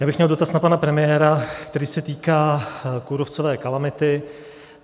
Já bych měl dotaz na pana premiéra, který se týká kůrovcové kalamity.